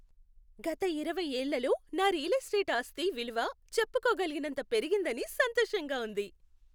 గత ఇరవై ఏళ్ళలో నా రియల్ ఎస్టేట్ ఆస్తి విలువ చెప్పుకోగలిగినంత పెరిగిందని సంతోషంగా ఉంది.